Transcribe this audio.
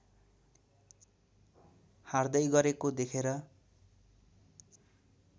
हार्दै गरेको देखेर